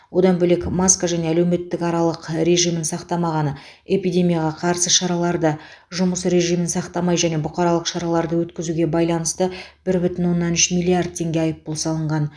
одан бөлек маска және әлеуметтік аралық режимін сақтамағаны эпидемияға қарсы шараларды жұмыс режимін сақтамай және бұқаралық шараларды өткізуге байланысты бір бүтін оннан үш миллиард теңге айыппұл салынған